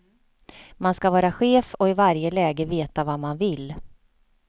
Man ska vara chef och i varje läge veta vad man vill.